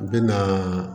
U bɛna